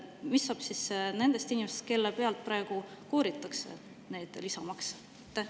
Mis saab nendest inimestest, kellelt praegu kooritakse neid lisamakse?